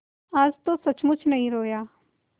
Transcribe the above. आज तो सचमुच नहीं रोया